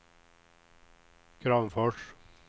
Kramfors